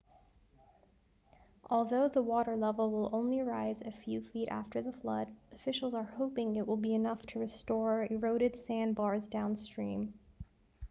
although the water level will only rise a few feet after the flood officials are hoping it will be enough to restore eroded sandbars downstream